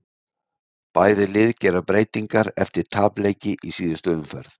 Bæði lið gera breytingar eftir tapleiki í síðustu umferð.